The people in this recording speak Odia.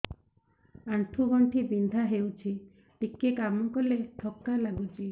ଆଣ୍ଠୁ ଗଣ୍ଠି ବିନ୍ଧା ହେଉଛି ଟିକେ କାମ କଲେ ଥକ୍କା ଲାଗୁଚି